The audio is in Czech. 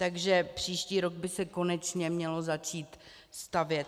Takže příští rok by se konečně mělo začít stavět.